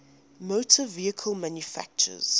motor vehicle manufacturers